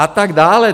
A tak dále.